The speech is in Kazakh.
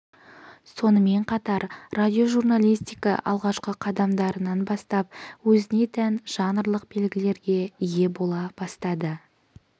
сонымен қатар радиожурналистика алғашқы қадамдарынан бастап өзіне тән жанрлық белгілерге ие бола бастады